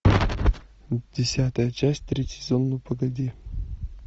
десятая часть третий сезон ну погоди